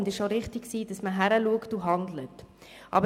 Es war auch richtig, dass man hingesehen und gehandelt hat.